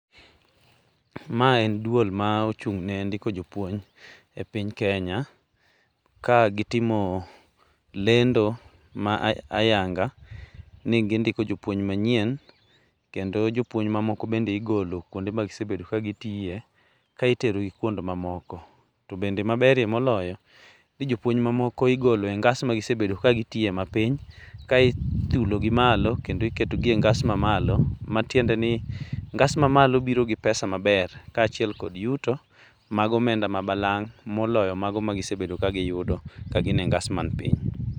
Ma en duol ma ochung ne ndiko jopuony e kenya, ka gitimo lendo ma ayanga ni gindiko jopuony manyieny kendo jopuony mamoko bende igolo ka itero gi kuond mamoko. To bende maberie moloyo en ni, jopuony mamoko igolo e ngas magisebedo kagitiye mapiny ka ithulo gi malo, e ngas mamalo, matiende ni iketo gagas ma malo boro gi pesa maber, kaachiel kod yuto mag omenda balang' moloyo mago magisebedo ka giyudo ka gin e ngas man piny.